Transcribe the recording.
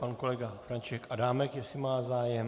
Pan kolega František Adámek, jestli má zájem.